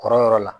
Kɔrɔyɔrɔ la